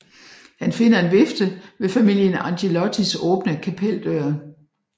Han finder en vifte ved familien Angelottis åbne kapeldør